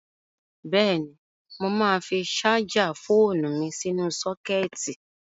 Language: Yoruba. Bẹ́ẹ̀ni, mo máa fi ṣájà fóònu mi sínú sọ́kẹ́ẹ̀tì.